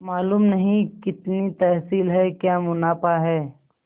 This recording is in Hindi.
मालूम नहीं कितनी तहसील है क्या मुनाफा है